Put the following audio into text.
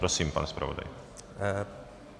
Prosím, pane zpravodaji.